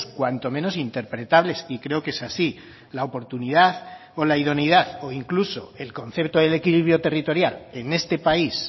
cuanto menos interpretables y creo que es así la oportunidad o la idoneidad o incluso el concepto del equilibrio territorial en este país